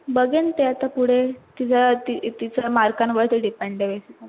बगेन ते आता पुढे तिच्या ति तिच्या mark कान वर depend आहे.